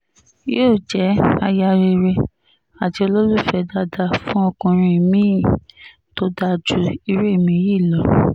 yóò jẹ́ aya rere àti olólùfẹ́ dáadáa fún ọkùnrin mi-ín tó dáa ju irú ẹ̀mí yìí lọ